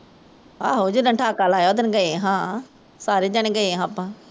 ਆਹੋ ਜਿਦਣ ਠਾਕਾ ਲਾਇਆ ਓਦਣ ਗਏ ਸਾਂ ਸਾਰੇ ਜਣੇ ਗਏ ਸਾਂ ਆਪਾਂ